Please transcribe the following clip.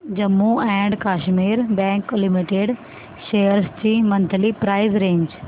Jammu and Kashmir bank limited shares ची monthly price range